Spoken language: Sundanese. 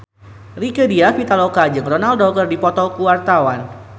Rieke Diah Pitaloka jeung Ronaldo keur dipoto ku wartawan